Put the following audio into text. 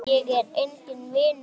Ég er enginn vinur þinn!